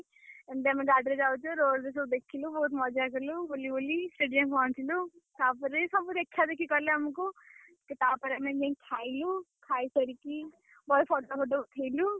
ଏମତି ଆମେ ଗାଡିରେ ଯାଉଚୁ road ରେ ସବୁ ଦେଖିଲୁ। ବହୁତ୍ ମଜା କଲୁ ବୁଲିବୁଲି ସେଠି ଯାଇଁ ପହଁଞ୍ଚିଲୁ। ତାପରେ ସବୁ ଦେଖାଦେଖି କଲେ ଆମୁକୁ ତାପରେ ଆମେ ଯାଇ ଖାଇଲୁ, ଖାଇ ସାରିକି, ବହେ photo photo ଉଠେଇଲୁ।